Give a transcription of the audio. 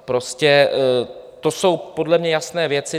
Prostě to jsou podle mě jasné věci.